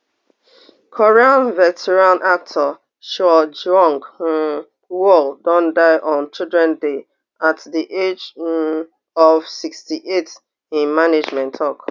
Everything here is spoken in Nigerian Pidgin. korean veteran actor choi jeong um woo don die on children day at di age um of sixty-eight im management tok